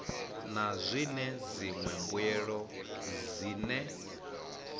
na zwine dziṅwe mbuelo dzine